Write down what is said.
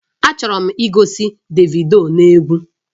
Achọrọ m igosi Davido n'egwu